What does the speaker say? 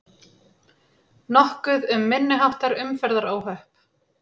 Nokkuð um minniháttar umferðaróhöpp